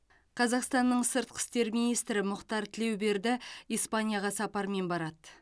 қазақстанның сыртқы істер министрі мұхтар тілеуберді испанияға сапармен барады